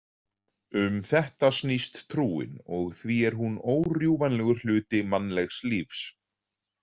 Um þetta snýst trúin og því er hún órjúfanlegur hluti mannlegs lífs.